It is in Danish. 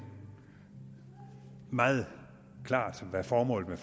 meget klart hvad formålet